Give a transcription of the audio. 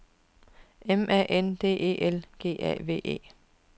M A N D E L G A V E